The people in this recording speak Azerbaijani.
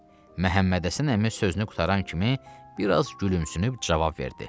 Məhəmmədhəsən əmi sözünü qurtaran kimi biraz gülümsünüb cavab verdi.